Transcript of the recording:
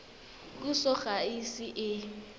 puso ga e ise e